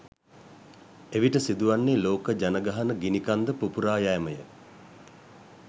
එවිට සිදුවන්නේ ලෝක ජනගහන ගිනිකන්ද පුපුරා යැමය.